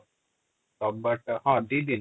ରବିବାର ଟା ହଁ ଦି ଦିନ |